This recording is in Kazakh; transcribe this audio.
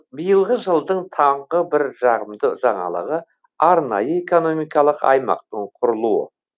биылғы жылдың тағы бір жағымды жаңалығы арнайы экономикалық аймақтың құрылуы